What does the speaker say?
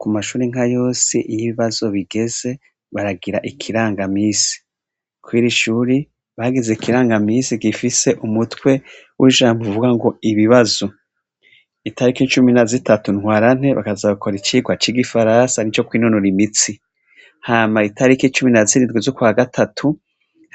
Ku mashuri nka yose iyo ibibazo bigeze baragira ikirangamisi, kwiri ishuri bagize ikirangamisi gifise umutwe w'ijambo uvuga ngo ibibazo, itarik’icumi na zitatu ntwarante bakazaakora icirwa c'igi farasa ni co kwinonura imitsi, hama itariki icumi na zirigwi z’ukwa gatatu